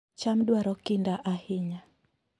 cham dwaro kinda ahinya